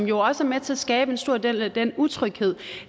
jo også med til at skabe en stor del af den utryghed